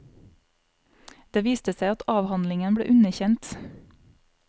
Det viste seg at avhandlingen ble underkjent.